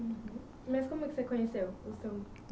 Uhum... Mas como é que você conheceu